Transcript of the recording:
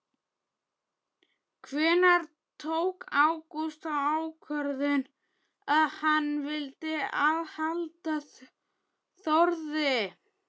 Hvenær tók Ágúst þá ákvörðun að hann vildi halda Þórði?